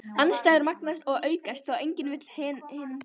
Andstæður magnast og aukast þá enginn vill hinum treysta.